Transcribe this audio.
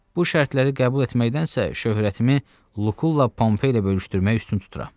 Bu şərtləri qəbul etməkdənsə şöhrətimi Lukulla və Pompey ilə bölüşdürməyi üstün tuturam.